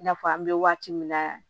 I n'a fɔ an bɛ waati min na